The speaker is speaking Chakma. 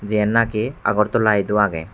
jiyen naki agartala edu ageh.